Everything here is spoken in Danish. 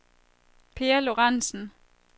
Peer Lorentsen